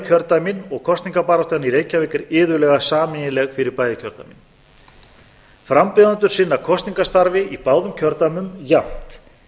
kjördæmin og kosningabaráttan í reykjavík er iðulega sameiginleg fyrir bæði kjördæmin frambjóðendur sinna kosningastarfi í báðum kjördæmum jafnt